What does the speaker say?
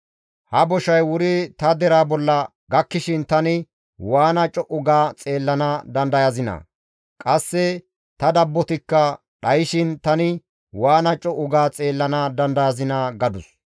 Ha boshay wuri ta deraa bolla gakkishin tani waana co7u ga xeellana dandayazinaa? Qasse ta dabbotikka dhayshin tani waana co7u ga xeellana dandayazinaa?» gadus.